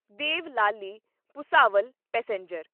Deolali Bhusawal passenger